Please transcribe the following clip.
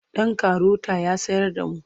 Ɗan karota ya tsayar da mu.